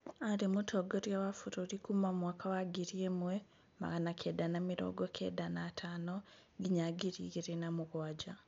Aarĩ mũtongoria wa bũrũri kuma mwaka wa ngiri ĩmwe, magana kenda na mĩrongo kenda na atano nginya ngiri igĩrĩ na mũgwanja